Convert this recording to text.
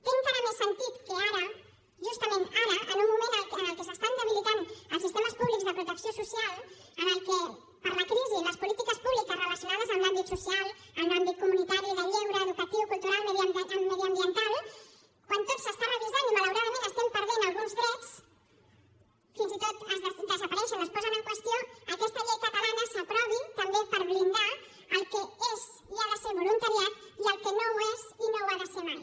té encara més sentit que ara justament ara en un moment en què s’estan debilitant els sistemes públics de protecció social en què per la crisi les polítiques públiques relacionades amb l’àmbit social amb l’àmbit comunitari de lleure educatiu cultural mediambiental quan tot s’està revisant i malauradament estem perdent alguns drets fins i tot desapareixen o es posen en qüestió aquesta llei catalana s’aprovi també per blindar el que és i ha de ser voluntariat i el que no ho és i no ho ha de ser mai